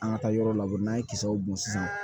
An ka taa yɔrɔ la n'an ye kisɛw bɔn sisan